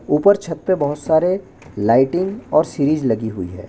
ऊपर छत पे बहुत सारे लाइटिंग और सीरीज लगी हुई है।